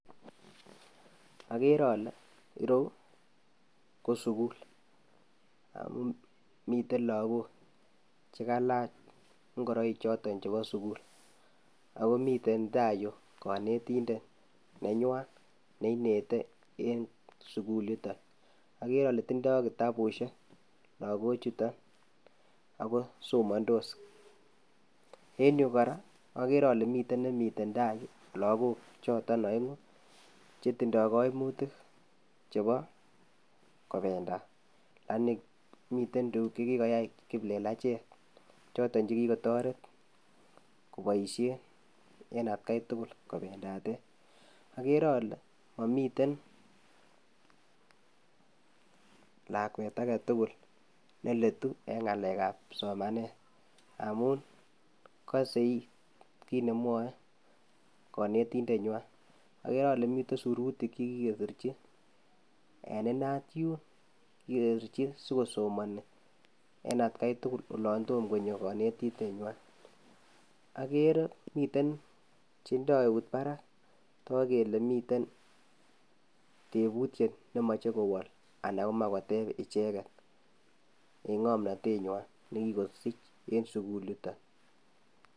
Okere olee ireyu ko sukul, ak komiten lokok chekalach ng'oroik choton chebo sukul ak komiten taai yuu konetindet nenywan neinete en sukul yuton okeree olee tindo kitabushek lokochuton ak ko somondos, en yuu kora okere olee miten nemiten taai yuu lokok choton oeng'u chetindo koimutik, chebo kobendat lakini miten tukuk chekikoyai kiplelachek choton chekikotoret koboishen en atkai tukul kobendaten, okere olee momiten lakwet aketukul neletu en ng'alekab somanet amun koseit kiit nemwoe konetindenywan, okere olee miten sirutik chekikesirchi en inaat yuun, kikesirchi sikosomoni en atkai tukul oloon tomoo konyo konetindenywan, akere miten chendoi eut barak toku kele miten tebutiet nemoche kowol anan komoe koteb icheket en ng'omnotenywan nekikosich en sukul yuton.